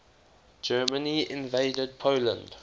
germany invaded poland